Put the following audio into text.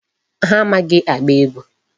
Ha amaghị agba egwu.